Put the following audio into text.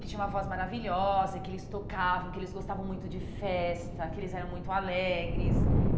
Que tinha uma voz maravilhosa, que eles tocavam, que eles gostavam muito de festa, que eles eram muito alegres.